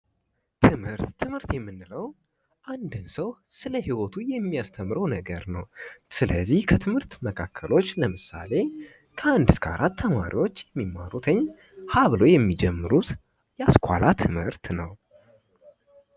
ትምህርት የምንለው አንድን ሰው ስለ ይወቱ የሚያስተምረው ነገር ነው። ስለዚህ ከትምህርት መካከሎች ለምሳሌ ከአንድ እስከ 4 የሚማሩት ሀ ብለው የሚጀምሩት የአስኮላ ትምህርት ነው።